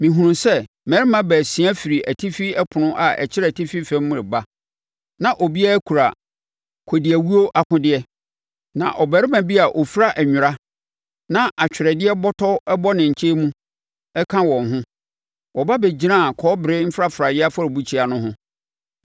Mehunuu sɛ mmarimma baasia firi atifi ɛpono a ɛkyerɛ atifi fam reba, na obiara kura kɔdiawuo akodeɛ. Na ɔbarima bi a ɔfira nwera na atwerɛdeɛ bɔtɔ bɔ ne nkyɛn mu ka wɔn ho. Wɔba bɛgyinaa kɔbere mfrafraeɛ afɔrebukyia no ho.